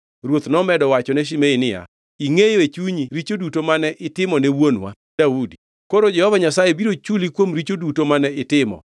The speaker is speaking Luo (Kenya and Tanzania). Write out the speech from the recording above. Ruoth nomedo wachone Shimei niya, “Ingʼeyo e chunyi richo duto mane itimone wuonwa Daudi. Koro Jehova Nyasaye biro chuli kuom richo duto mane itimo.